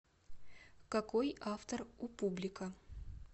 какой автор у публика